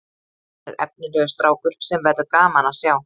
Hann er efnilegur strákur sem verður gaman að sjá